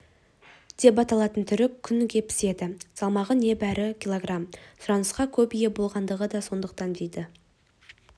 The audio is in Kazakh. деп аталатын түрі күнде піседі салмағы небәрі кг сұранысқа көп ие болатындығы да сондықтан дейді